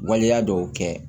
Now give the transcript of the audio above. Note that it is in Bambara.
Waleya dɔw kɛ